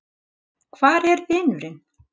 Hvar er vinurinn?